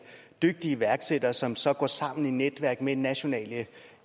dygtige iværksættere som så går sammen i netværk med nationale